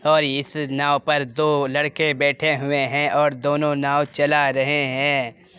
और इस नाव पर दो लड़के बैठे हुए हैं और दोनों नाव चला रहे हैं।